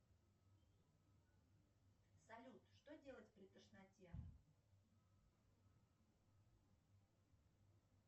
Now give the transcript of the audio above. салют что делать при тошноте